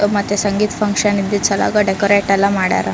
ಮತ್ತೆ ಸಂಗೀತ್ ಫಂಕ್ಷನ್ ಇದ್ದು ಚೆನ್ನಾಗೆ ಡೆಕೊರೇಟ್ ಎಲ್ಲ ಮಾಡ್ಯಾರ.